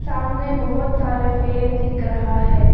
सामने बहुत सारे पेड़ दिख रहा है।